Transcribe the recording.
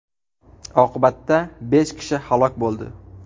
Oqibatda besh kishi halok bo‘ldi.